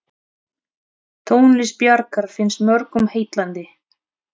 Tónlist Bjarkar finnst mörgum heillandi.